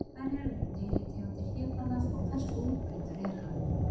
Hverjar eru deilitegundir hlébarðans og hversu útbreiddur er hann?